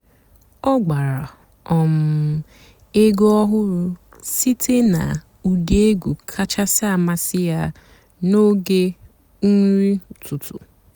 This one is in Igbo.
ọ́ gbárá um ègwú ọ̀hụ́rụ́ sìté nà ụ́dị́ ègwú kàchàsị́ àmásị́ yá n'óge nrí ụ́tụtụ́.